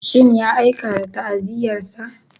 Shin ya aika da ta'aziyyarsa?